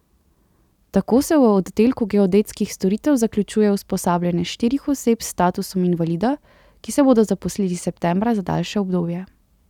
Tako se v oddelku geodetskih storitev zaključuje usposabljanje štirih oseb s statusom invalida, ki se bodo zaposlili septembra za daljše obdobje.